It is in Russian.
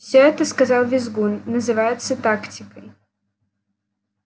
всё это сказал визгун называется тактикой